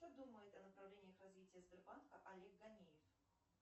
что думает о направлениях развития сбербанка олег ганеев